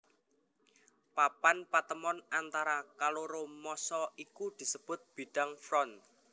Papan patemon antara kaloro massa iku disebut bidang front